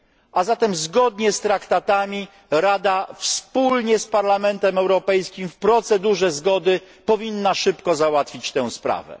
A zatem zgodnie z traktatami Rada wspólnie z Parlamentem Europejskim, w procedurze zgody, powinna szybko załatwić tę sprawę.